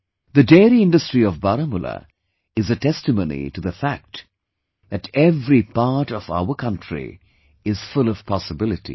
The dairy industry of Baramulla is a testimony to the fact that every part of our country is full of possibilities